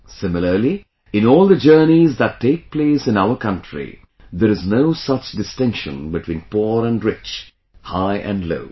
Similarly, in all the journeys that take place in our country, there is no such distinction between poor and rich, high and low